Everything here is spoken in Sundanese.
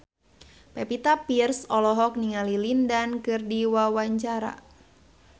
Pevita Pearce olohok ningali Lin Dan keur diwawancara